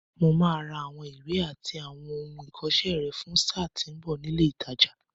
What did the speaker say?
Mo máa ra àwọn ìwé àti àwọn ohun ìkọṣẹ́ rẹ fún sáà tí ń bọ̀ ní ilé ìtajà.